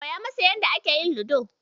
Koya masa yadda ake yin Ludo.